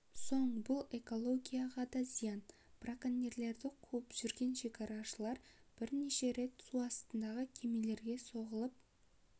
соң бұл экологияға да зиян браконьерлерді қуып жүрген шекарашылар бірнеше рет су астындағы кемелерге соғылып